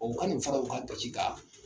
O ka nin fara u ka dɔci ka